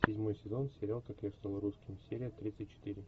седьмой сезон сериал как я стал русским серия тридцать четыре